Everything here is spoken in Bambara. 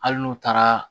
Hali n'u taara